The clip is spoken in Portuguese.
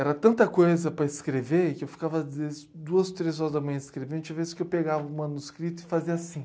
Era tanta coisa para escrever que eu ficava duas, três horas da manhã escrevendo e tinha vezes que eu pegava o manuscrito e fazia assim.